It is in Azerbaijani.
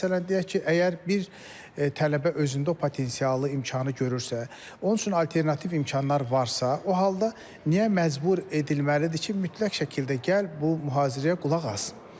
Məsələn, deyək ki, əgər bir tələbə özündə o potensialı, imkanı görürsə, onun üçün alternativ imkanlar varsa, o halda niyə məcbur edilməlidir ki, mütləq şəkildə gəl bu mühazirəyə qulaq as?